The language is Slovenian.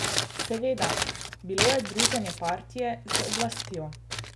Seveda, bilo je druženje Partije z oblastjo.